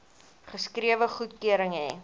geskrewe goedkeuring hê